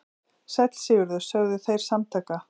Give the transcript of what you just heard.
Sæll Sigurður, sögðu þeir samtaka.